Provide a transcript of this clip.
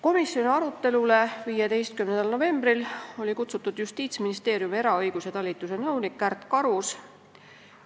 Komisjoni 15. novembri arutelule oli kutsutud Justiitsministeeriumi eraõiguse talituse nõunik Kärt Karus.